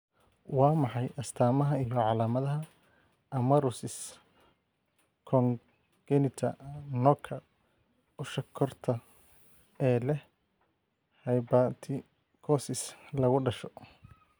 Waa maxay astamaha iyo calaamadaha Amaurosis congenita nooca usha koorta ee leh hypertrichosis lagu dhasho?